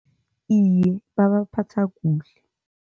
Iye, babaphatha kuhle.